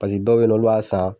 Paseke dɔw bɛ ye nɔ olu b'a san